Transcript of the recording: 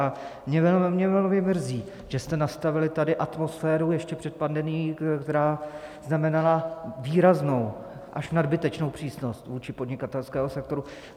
A mě velmi mrzí, že jste nastavili tady atmosféru ještě před pandemií, která znamenala výraznou, až nadbytečnou přísnost vůči podnikatelskému sektoru.